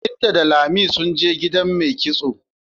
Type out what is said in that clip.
Binta da Lami sun je gida mai kitso.